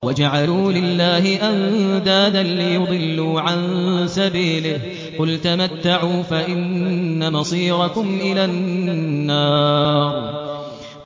وَجَعَلُوا لِلَّهِ أَندَادًا لِّيُضِلُّوا عَن سَبِيلِهِ ۗ قُلْ تَمَتَّعُوا فَإِنَّ مَصِيرَكُمْ إِلَى النَّارِ